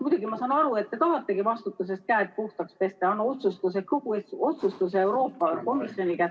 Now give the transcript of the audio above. Muidugi, ma saan aru, et te tahategi vastutusest käed puhtaks pesta ja anda kogu otsustuse Euroopa Komisjoni kätte.